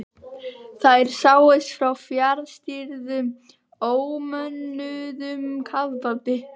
Þær sáust frá fjarstýrðum ómönnuðum kafbáti.